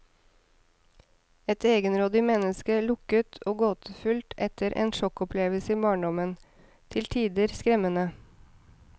Et egenrådig menneske, lukket og gåtefull efter en sjokkopplevelse i barndommen, til tider skremmende.